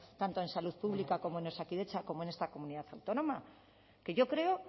tanto en salud pública como en osakidetza como en esta comunidad autónoma que yo creo